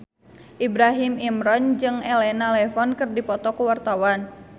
Ibrahim Imran jeung Elena Levon keur dipoto ku wartawan